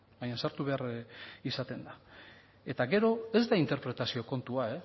baina sartu behar izaten da eta gero ez da interpretazio kontua